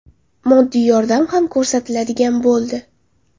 Moddiy yordam ham ko‘rsatiladigan bo‘ldi.